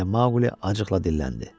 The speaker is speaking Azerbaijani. deyə Maqli acıqla dilləndi.